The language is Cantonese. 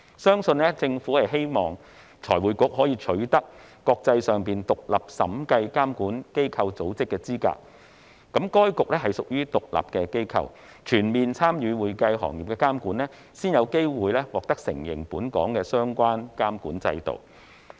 相信政府希望財匯局可以取得國際上獨立審計監管機構組織的資格，該局屬獨立機構，要全面參與會計行業的監管，才有機會獲得國際承認本港的相關監管制度。